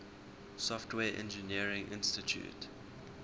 software engineering institute